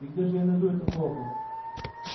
и где же я найду это золото